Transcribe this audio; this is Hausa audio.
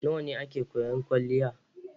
Nawa ne ake koyan kwaliya?